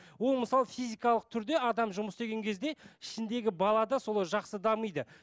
ол мысалы физикалық түрде адам жұмыс істеген кезде ішіндегі бала да солай жақсы дамиды